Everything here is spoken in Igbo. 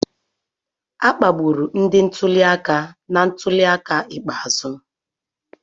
A kpagburu ndị ntuli aka na ntuli aka ikpeazụ.